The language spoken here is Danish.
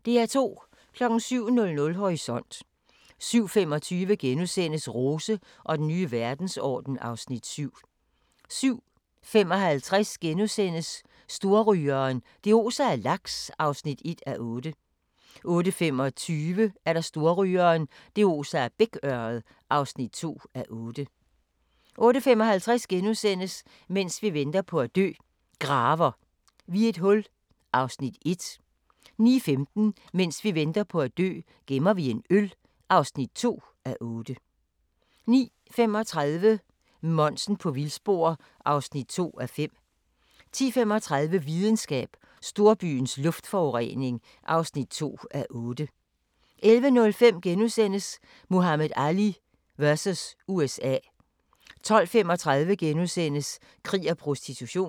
07:00: Horisont 07:25: Rose og den nye verdensorden (Afs. 7)* 07:55: Storrygeren – det oser af laks (1:8)* 08:25: Storrygeren – det oser af bækørred (2:8) 08:55: Mens vi venter på at dø – Graver vi et hul (1:8)* 09:15: Mens vi venter på at dø - gemmer vi en øl (2:8) 09:35: Monsen på vildspor (2:5) 10:35: Videnskab: Storbyens luftforurening (2:8) 11:05: Muhammad Ali vs. USA * 12:35: Krig og prostitution *